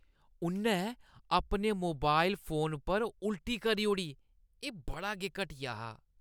उʼन्नै अपने mobile phone पर उल्टी करी ओड़ी। एह् बड़ा गै घटिया हा।